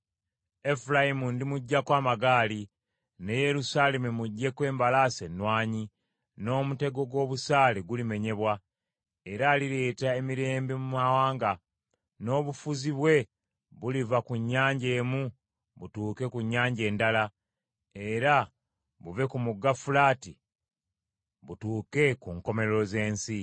Efulayimu ndimuggyako amagaali, ne Yerusaalemi muggyeko embalaasi ennwanyi, n’omutego gw’obusaale gulimenyebwa era alireeta emirembe mu mawanga, n’obufuzi bwe buliva ku nnyanja emu butuuke ku nnyanja endala era buve ku mugga Fulaati butuuke ku nkomerero z’ensi.